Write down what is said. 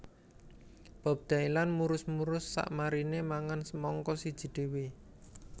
Bob Dylan murus murus sakmarine mangan semangka siji dhewe